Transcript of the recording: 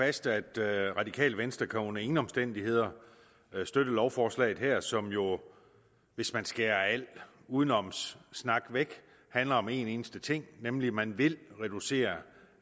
fast at det radikale venstre under ingen omstændigheder kan støtte lovforslaget her som jo hvis man skærer al udenomssnak væk handler om en eneste ting nemlig at man vil reducere